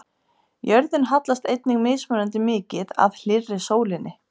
Jörðin hallast einnig mismunandi mikið að hlýrri sólinni.